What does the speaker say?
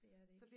Det er det ikke